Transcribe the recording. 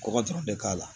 Kɔkɔ dɔrɔn bɛ k'a la